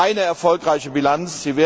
Es ist also keine erfolgreiche Bilanz.